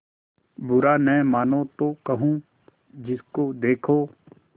बुरा न मानों तो कहूँ जिसको देखो